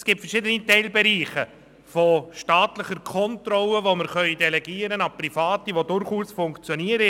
Es gibt verschiedene Teilbereiche staatlicher Kontrolle, die wir an Private delegieren können und die durchaus funktionieren.